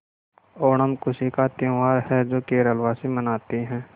ओणम खुशी का त्यौहार है जो केरल वासी मनाते हैं